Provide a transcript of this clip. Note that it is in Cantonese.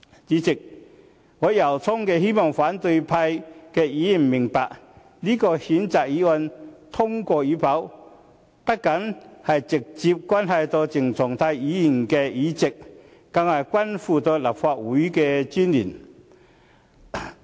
主席，我由衷希望反對派議員明白，這項譴責議案通過與否，不僅直接關係到鄭松泰的議席，更是關乎立法會的尊嚴。